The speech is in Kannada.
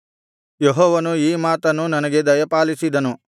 ಯೆಹೋವನು ಈ ಮಾತನ್ನು ನನಗೆ ದಯಪಾಲಿಸಿದನು